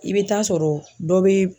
I bɛ taa sɔrɔ dɔ bɛ.